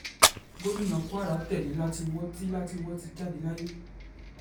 gomina kwara tẹ́lẹ̀ látìnwò ti látìnwò ti jáde láyé